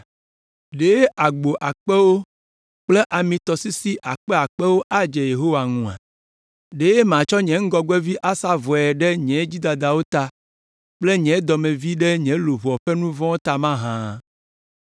Ɖe agbo akpewo kple amitɔsisi akpe akpewo adze Yehowa ŋua? Ɖe matsɔ nye ŋgɔgbevi asa vɔe ɖe nye dzidadawo ta kple nye dɔmevi ɖe nye luʋɔ ƒe nu vɔ̃ ta mahã?